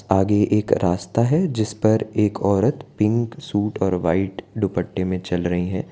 आगे एक रास्ता है जिस पर एक औरत पिंक सूट और व्हाइट दुपट्टे में चल रही हैं।